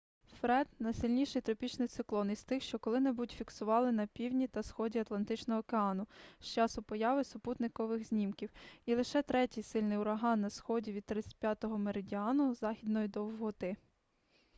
фред найсильніший тропічний циклон із тих що коли-небудь фіксували на півдні та сході атлантичного океану з часу появи супутникових знімків і лише третій сильний ураган на сході від 35-го меридіану західної довготи